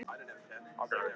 Vildi svo kyssa mig.